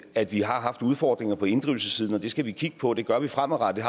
at vi har haft udfordringer på inddrivelsessiden og det skal vi kigge på det gør vi fremadrettet